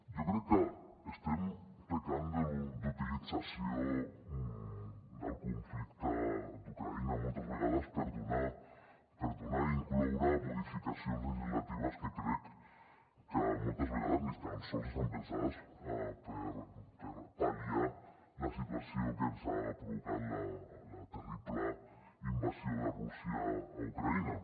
jo crec que estem pecant d’utilització del conflicte d’ucraïna moltes vegades per donar i incloure modificacions legislatives que crec que moltes vegades ni tan sols estan pensades per pal·liar la situació que ens ha provocat la terrible invasió de rússia a ucraïna